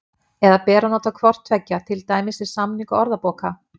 Eða ber að nota hvort tveggja, til dæmis við samningu orðabóka?